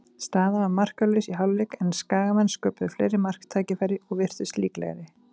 Staðan var markalaus í hálfleik, en Skagamenn sköpuðu fleiri marktækifæri og virtust líklegri.